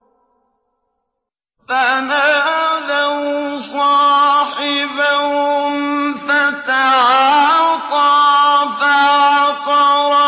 فَنَادَوْا صَاحِبَهُمْ فَتَعَاطَىٰ فَعَقَرَ